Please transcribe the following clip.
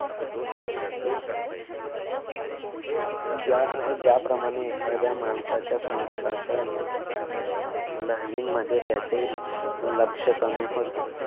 ज्या अह ज्याप्रमाणे एखाद्या माणसाच्या संगीताच्या लहरीमध्ये त्याचे लक्ष कमी होते.